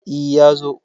E, ya zo.